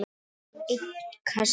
einn kassa?